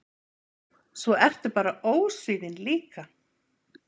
Svo ertu bara ósvífin líka.